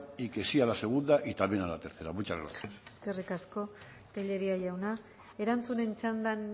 que sí a la segunda y también a la tercera muchas gracias eskerrik asko tellería jauna erantzunen txandan